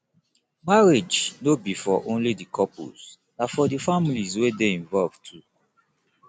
marriage no be for only di couples na for di families wey de involved too